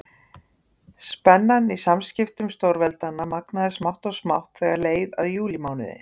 Spennan í samskiptum stórveldanna magnaðist smátt og smátt þegar leið á júlímánuð.